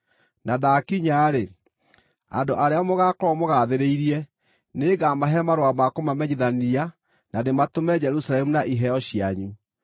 Na ndaakinya-rĩ, andũ arĩa mũgaakorwo mũgathĩrĩirie nĩngamahe marũa ma kũmamenyithania na ndĩmatũme Jerusalemu na iheo cianyu.